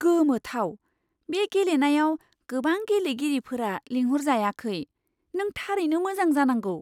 गोमोथाव! बे गेलेनायाव गोबां गेलेगिरिफोरा लिंहरजायाखै। नों थारैनो मोजां जानांगौ!